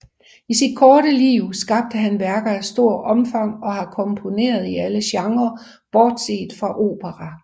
I sit korte liv skabte han værker af stort omfang og har komponeret i alle genrer bortset fra opera